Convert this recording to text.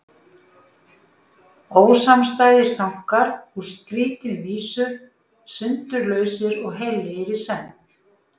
Ósamstæðir þankar úr skrýtinni vísu, sundurlausir og heillegir í senn.